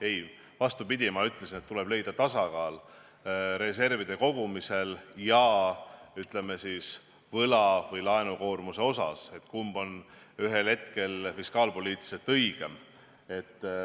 Ei, vastupidi, ma ütlesin, et tuleb leida tasakaal reservide kogumisel ja, ütleme, võla või laenukoormuse vahel, et kumb on ühel hetkel fiskaalpoliitiliselt õigem.